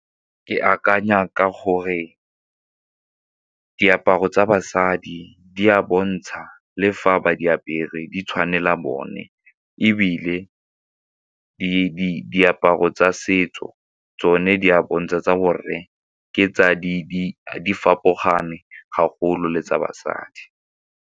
Ke akanya ka gore diaparo tsa basadi di a bontsha le fa ba di apere di tshwanela bone ebile diaparo tsa setso tsone di bontsha tsa borre ga golo le tsa basadi.